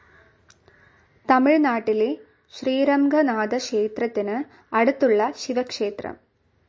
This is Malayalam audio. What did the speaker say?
തമിഴ് നാട്ടിലെ ശ്രീരംഗനാഥ ക്ഷേത്രത്തിനു അടുത്തുള്ള ശിവക്ഷേത്രം.